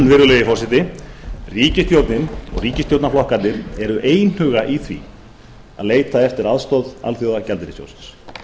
virðulegi forseti ríkisstjórnin og ríkisstjórnarflokkarnir eru einhuga í því að leita eftir aðstoð alþjóðagjaldeyrissjóðsins